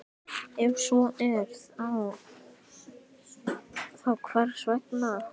Ef svo er, þá hvers vegna?